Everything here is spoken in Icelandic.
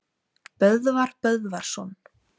Böðvar Böðvarsson